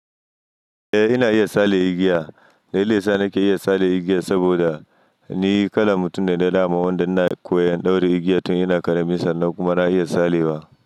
Eh ina iya sale igiya, na iya sale igiya saboda ni kalan mutum ne na dama wanda na koyan ɗaura igiya tun yana karami sannan kuma na iya sale wa.